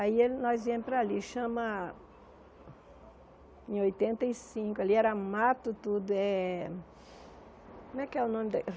Aí, nós íamos para ali, chama... Em oitenta e cinco, ali era mato tudo, é... Como é que é o nome da?